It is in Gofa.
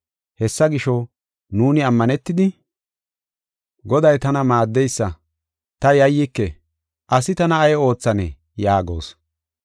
Hessa gisho, nuuni ammanetidi, “Goday tana maaddeysa; ta yayyike; asi tana ay oothanee?” yaagos.